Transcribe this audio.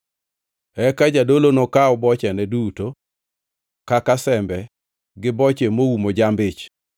Eka jadolo nokaw bochene duto, kaka sembe gi boche moumo jamb-ich,